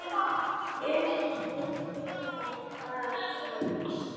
En vein var það samt.